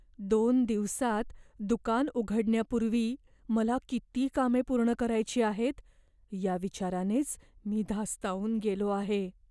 दोन दिवसांत दुकान उघडण्यापूर्वी मला किती कामे पूर्ण करायची आहेत, या विचारानेच मी धास्तावून गेलो आहे.